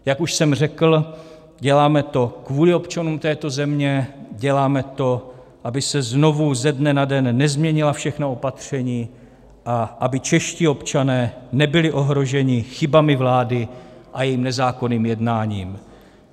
Jak už jsem řekl, děláme to kvůli občanům této země, děláme to, aby se znovu ze dne na den nezměnila všechna opatření a aby čeští občané nebyli ohroženi chybami vlády a jejím nezákonným jednáním.